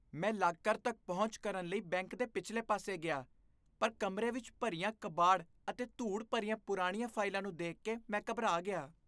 ਮੈਂ ਲਾਕਰ ਤੱਕ ਪਹੁੰਚ ਕਰਨ ਲਈ ਬੈਂਕ ਦੇ ਪਿਛਲੇ ਪਾਸੇ ਗਿਆ, ਪਰ ਕਮਰੇ ਵਿੱਚ ਭਰੀਆਂ ਕਬਾੜ ਅਤੇ ਧੂੜ ਭਰੀਆਂ ਪੁਰਾਣੀਆਂ ਫਾਈਲਾਂ ਨੂੰ ਦੇਖ ਕੇ ਮੈਂ ਘਬਰਾ ਗਿਆ।